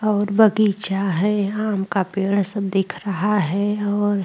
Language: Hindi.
और बगीचा है आम का पेड़ सब दिख रहा है और --